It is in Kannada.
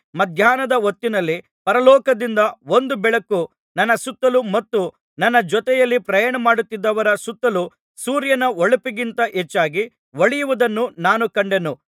ಮಧ್ಯಾಹ್ನದ ಹೊತ್ತಿನಲ್ಲಿ ಪರಲೋಕದಿಂದ ಒಂದು ಬೆಳಕು ನನ್ನ ಸುತ್ತಲೂ ಮತ್ತು ನನ್ನ ಜೊತೆಯಲ್ಲಿ ಪ್ರಯಾಣಮಾಡುತ್ತಿದ್ದವರ ಸುತ್ತಲೂ ಸೂರ್ಯನ ಹೊಳಪಿಗಿಂತ ಹೆಚ್ಚಾಗಿ ಹೊಳೆಯುವುದನ್ನು ನಾನು ಕಂಡೆನು